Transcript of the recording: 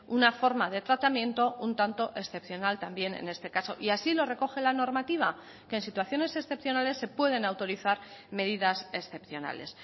una forma de tratamiento un tanto excepcional también en este caso y así lo recoge la normativa que en situaciones excepcionales se pueden autorizar medidas excepcionales